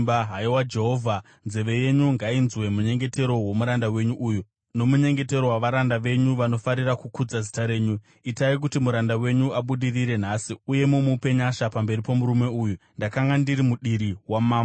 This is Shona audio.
Haiwa Jehovha, nzeve yenyu ngainzwe munyengetero womuranda wenyu uyu nomunyengetero wavaranda venyu vanofarira kukudza zita renyu. Itai kuti muranda wenyu abudirire nhasi uye mumupe nyasha pamberi pomurume uyu.” Ndakanga ndiri mudiri wamambo.